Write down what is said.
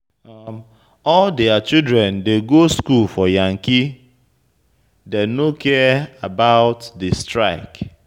All their children dey go school for yankee, dey no care about di strike.